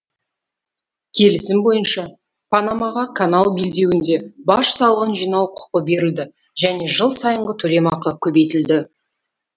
келісім бойынша панамаға канал белдеуінде баж салығын жинау құқы берілді және жыл сайынғы төлем ақы көбейтілді